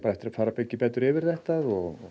eftir að fara betur yfir þetta og